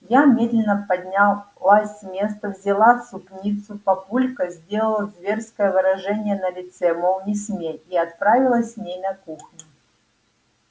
я медленно поднялась с места взяла супницу папулька сделал зверское выражение на лице мол не смей и отправилась с ней на кухню